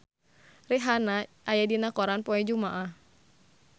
Rihanna aya dina koran poe Jumaah